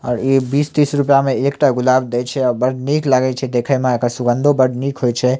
और इ बीसतीस रूपया में एकटा गुलाब दे छै और बढ़ निक लागय छै देखे मे एकर सुगंधो बड़ निक होय छै ।